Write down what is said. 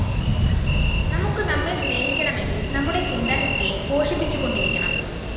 നമുക്ക് നമ്മെ സ്‌നേഹിക്കണമെങ്കില്‍ നമ്മുടെ ചിന്താശക്തിയെ പോഷിപ്പിച്ചുകൊണ്ടിരിക്കണം